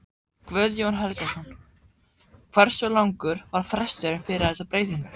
Guðjón Helgason: Hversu langur var fresturinn fyrir þessar breytingar?